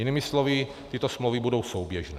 Jinými slovy, tyto smlouvy budou souběžné.